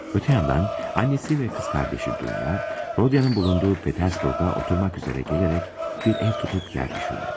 Öte yandan, annesi ve kız kardeşi Dunya, Rodyan'ın bulunduğu Petersburg'a oturmak üzere gelerek bir ev tutup yerleşirler.